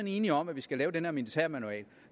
enige om at vi skal lave den her militærmanual